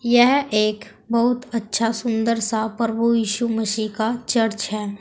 यह एक बहुत अच्छा सुंदर सा प्रभु यीशु मसीह का चर्च है।